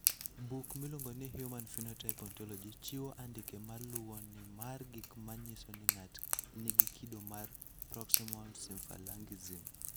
Buk miluongo ni Human Phenotype Ontology chiwo andike ma luwoni mar gik ma nyiso ni ng'ato nigi kido mar Proximal symphalangism.